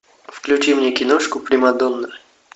включи мне киношку примадонна